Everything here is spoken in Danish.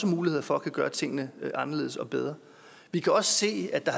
muligheder for at gøre tingene anderledes og bedre vi kan også se at der